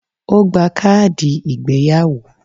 O gba káàdì ìgbéyàwó